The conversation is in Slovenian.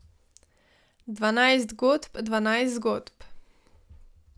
Dvanajst godb, dvanajst zgodb.